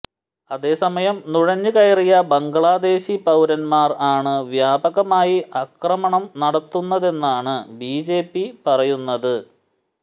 അതേസമയം നുഴഞ്ഞു കയറിയ ബംഗ്ലാദേശി പൌരന്മാർ ആണ് വ്യാപകമായി ആക്രമണം നടത്തുന്നതെന്നാണ് ബിജെപി പറയുന്നത്